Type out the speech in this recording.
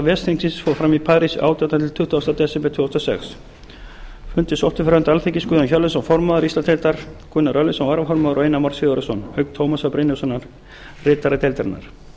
ves þingsins fór fram í parís átjánda til tuttugasta desember tvö þúsund og sex fundinn sóttu fyrir hönd alþingismanna guðjón hjörleifsson formaður íslandsdeildar gunnar örlygsson varaformaður og einar már sigurðarson auk tómasar brynjólfssonar ritara deildarinnar